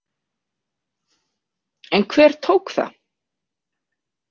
En hver tók það?